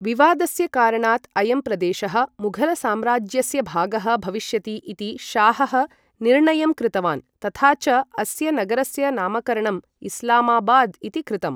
विवादस्य कारणात् अयं प्रदेशः मुघलसाम्राज्यस्य भागः भविष्यति इति शाहः निर्णयं कृतवान् तथा च अस्य नगरस्य नामकरणं इस्लामाबाद् इति कृतम्।